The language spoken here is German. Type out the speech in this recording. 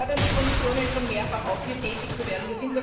Wir forderten die Kommission schon mehrfach auf, hier tätig zu werden.